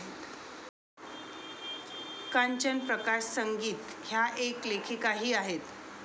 कांचन प्रकाश संगीत ह्या एक लेखिकाही आहेत.